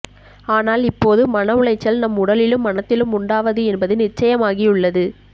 ஆனால் இப்போது மன உளைச்சல் நம் உடலிலும் மனத்திலும் உண்டாவது என்பது நிச்சயமாகியுள்ளது